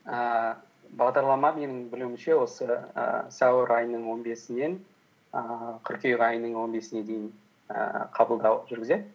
ііі бағдарлама менің білуімше осы ііі сәуір айының он бесінен ііі қыркүйек айының он бесіне дейін ііі қабылдау жүргізеді